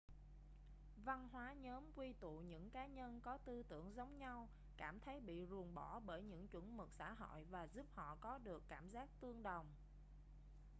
văn hóa nhóm quy tụ những cá nhân có tư tưởng giống nhau cảm thấy bị ruồng bỏ bởi những chuẩn mực xã hội và giúp họ có được cảm giác tương đồng